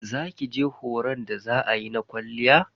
Za kije horon da za ayi na kwalliya?